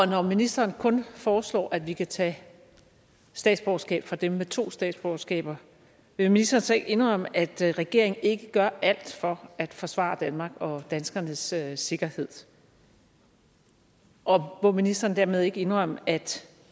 når ministeren kun foreslår at vi kan tage statsborgerskabet fra dem med to statsborgerskaber vil ministeren så ikke indrømme at regeringen ikke gør alt for at forsvare danmark og danskernes sikkerhed sikkerhed og må ministeren dermed ikke indrømme at